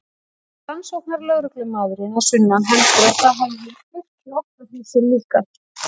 Rannsóknarlögreglumaðurinn að sunnan heldur að það hafi verið kveikt í okkar húsi líka.